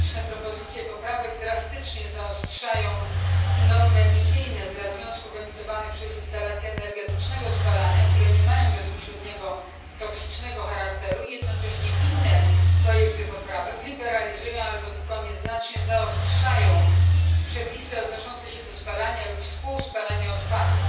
Liczne propozycje poprawek drastycznie zaostrzają normy emisyjne dla związków emitowanych przez instalacje energetycznego spalania, które nie mają bezpośredniego toksycznego charakteru i, jednocześnie, inne projekty poprawek liberalizują albo tylko nieznacznie zaostrzają przepisy odnoszące się do spalania lub współspalania odpadów.